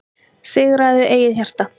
Sigraðu eigið hjarta,